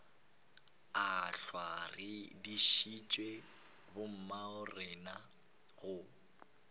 ehlwa re dišitše bommagorena go